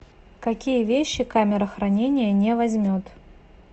какие вещи камера хранения не возьмет